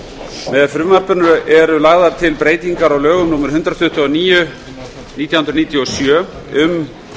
með frumvarpinu eru lagðar til breytingar á lögum númer eitt hundrað tuttugu og níu nítján hundruð níutíu og sjö um